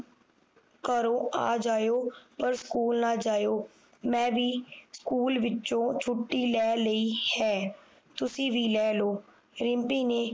ਘਰੋਂ ਆ ਜਾਇਓ ਪਰ ਸਕੂਲ ਨਾ ਜਾਇਓ ਮੈਂ ਵੀ ਸਕੂਲ ਵਿੱਚੋ ਛੁਟੀ ਲੈ ਲਈ ਹੈ ਤੁਸੀਂ ਵੀ ਲੈ ਲਓ ਰਿਮਪੀ ਨੇ